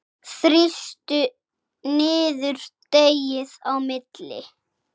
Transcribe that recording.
Þrýstu niður deigið á milli.